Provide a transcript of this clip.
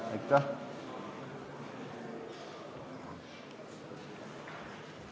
Aitäh!